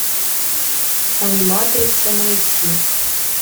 аниматрица найти